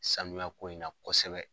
Sanuya ko in na kɔsɛbɛ.